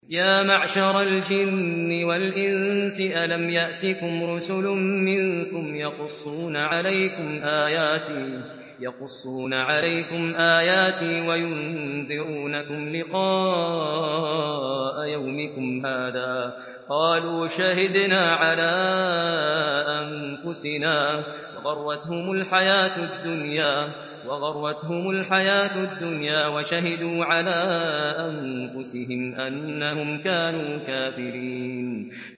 يَا مَعْشَرَ الْجِنِّ وَالْإِنسِ أَلَمْ يَأْتِكُمْ رُسُلٌ مِّنكُمْ يَقُصُّونَ عَلَيْكُمْ آيَاتِي وَيُنذِرُونَكُمْ لِقَاءَ يَوْمِكُمْ هَٰذَا ۚ قَالُوا شَهِدْنَا عَلَىٰ أَنفُسِنَا ۖ وَغَرَّتْهُمُ الْحَيَاةُ الدُّنْيَا وَشَهِدُوا عَلَىٰ أَنفُسِهِمْ أَنَّهُمْ كَانُوا كَافِرِينَ